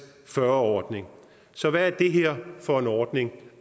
ordning så hvad er det her for en ordning